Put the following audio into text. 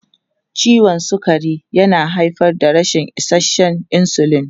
Ciwon sukari yana haifar da rashin isasshen insulin.